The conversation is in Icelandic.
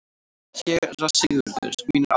SÉRA SIGURÐUR: Mín er ánægjan.